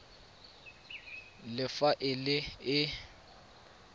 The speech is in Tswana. le fa e le e